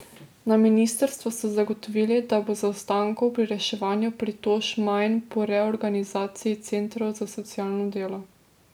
Na ministrstvu so zagotovili, da bo zaostankov pri reševanju pritožb manj po reorganizaciji centrov za socialno delo.